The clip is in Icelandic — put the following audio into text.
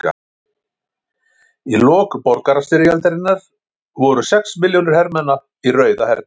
Í lok borgarastyrjaldarinnar voru sex milljónir hermanna í Rauða hernum.